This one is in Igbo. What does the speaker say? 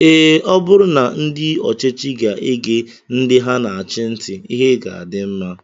Ee, ọ bụrụ na ndị ọchịchị ga-ege ndị ha na-achị ntị, ihe ga-adị mma